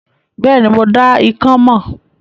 Bẹ́ẹ̀ni, mo dá ikán mọ̀.